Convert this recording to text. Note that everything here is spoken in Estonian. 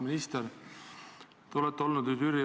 Auväärt minister!